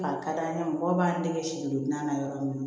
A ka d'an ye mɔgɔw b'an dege si don dilan na yɔrɔ min na